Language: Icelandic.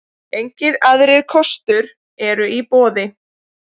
Engir aðrir kostur eru í boði.